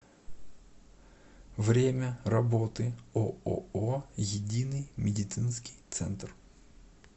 время работы ооо единый медицинский центр